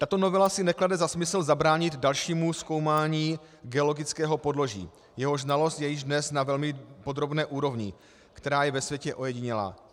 Tato novela si neklade za smysl zabránit dalšímu zkoumání geologického podloží, jehož znalost je již dnes na velmi podrobné úrovni, která je ve světě ojedinělá.